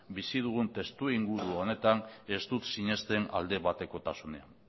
bizi dugun testuinguru honetan ez dut sinesten aldebatekotasunean